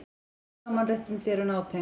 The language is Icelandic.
Heilsa og mannréttindi eru nátengd.